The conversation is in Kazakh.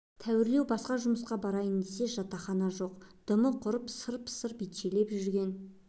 тәуірлеу басқа жұмысқа барайын десе жатақхана жоқ дымы құрып сырп-сырп итшелеп жүрген